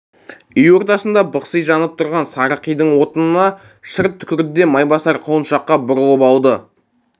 үй ортасында бықси жанып тұрған сары қидың отына шырт түкірді де майбасар құлыншаққа бұрылып алды